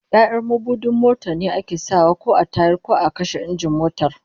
Ya'yan mabudin motar ne ake sa wa a tayar ko a kashe injin motar